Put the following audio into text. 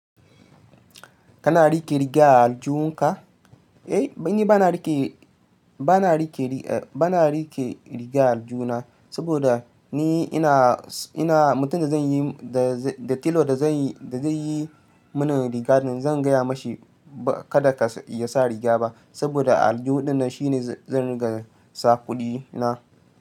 Kana rike riga a aljuhun ka? Eh, ni bana rike, bana rike, bana rike riga a aljihuna saboda ni ina, ina mutumin da zaiyi, da telo da zanyi, da zai yi mun rigar, zan gaya mashi kada ya sa rigar ba saboda aljuhu dinnan shine zan riga sa kuɗi na.